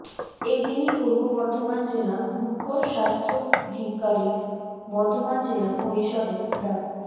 এদিনই পূর্ব বর্ধমান জেলা মুখ্য স্বাস্থ্যাধিকারিক বর্ধমান জেলা পরিষদে ডা